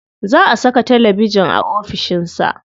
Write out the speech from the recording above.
Za a saka talabijin a ofishin sa.